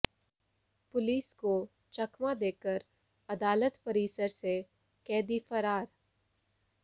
police को चकमा देकर अदालत परिसर से कैदी फरार